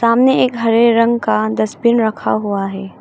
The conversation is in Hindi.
सामने एक हरे रंग का डसबिन रखा हुआ है।